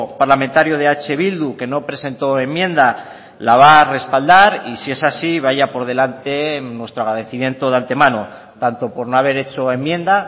parlamentario de eh bildu que no presentó enmienda la va a respaldar y si es así vaya por delante nuestro agradecimiento de antemano tanto por no haber hecho enmienda